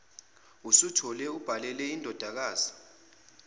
usithole ubhalele indodakazi